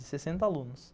sessenta alunos.